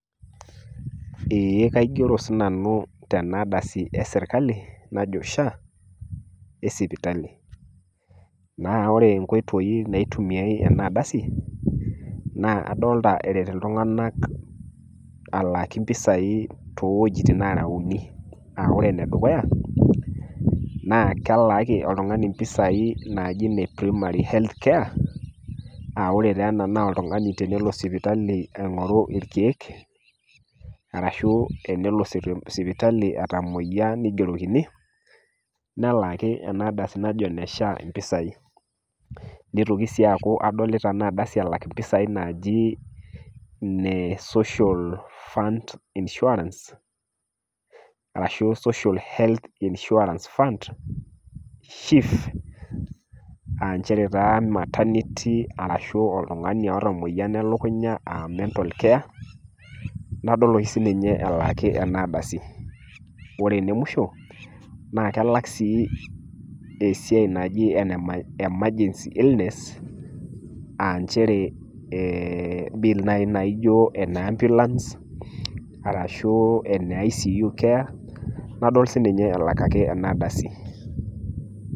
Eeh, kaigero sii nanu tena kardasi e serkali, najo SHA esipitali. Naa ore inkoitoi naitumiyai ena ardasi naa adolita eret iltung'ana alaaki impisai too wuetin nareuni. Ore ene dukuya, naa kelaaki oltung'ani iropiani naaji primary health care, naa ore taa ena naa tenelo oltung'ani sipitali aing'oru ilkeek, arashu tenelo sipitali etamoiya neigerokini, nelaaki ena ardasi najo ene SHA impisai. Neitoki sii aaku adolita ena ardasi elak impisai naaji ine social fund insuarance ashu social health insuarance fund, SHIF,[um] nchere taa maternety arashu oltung'ani oata emoyian e lukunya um mental care na kadol oshi sii ninye elaaki ena kardasi. Ore ene musho naa kelak sii esiai naji emergency illness nchere bill naijo ene ambulance arshu ene ICU care nadol sii ninye elak ena ardasi.